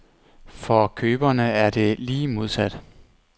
For køberne er det lige modsat.